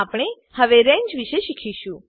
મા આપણે હવે રંગે વિષે શીખીશું